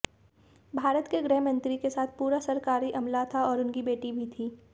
भारत के गृहमंत्री के साथ पूरा सरकारी अमला था और उनकी बेटी भी थीं